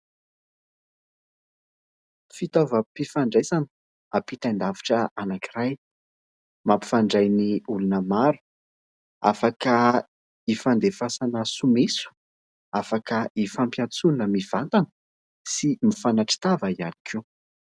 Fitaovam-pifandraisana ampitain-davitra anankiray, mampifandray ny olona maro, afaka hifandefasana someso, afaka hifampiantsoana mivantana sy mifanatri-tava ihany koa.